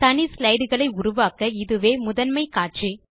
தனி ஸ்லைடு களை உருவாக்க இதுவே முதன்மை காட்சி